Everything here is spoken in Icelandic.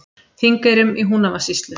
Þingeyrum í Húnavatnssýslu.